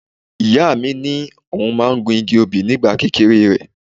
Ìyá mi ní òun máa ń gun igi obì ní ìgbà kékeré rẹ̀.